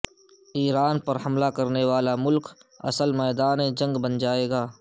ایران پر حملہ کرنے والا ملک اصل میدان جنگ بن جائیگا